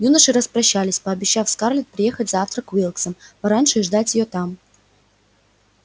юноши распрощались пообещав скарлетт приехать завтра к уилксам пораньше и ждать её там